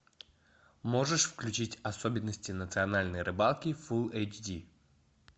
можешь включить особенности национальной рыбалки фул эйч ди